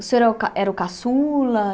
O senhor é o ca era o caçula?